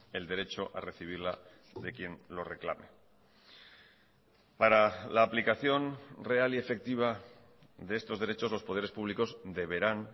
el derecho a recibirla de quien lo reclame para la aplicación real y efectiva de estos derechos los poderes públicos deberán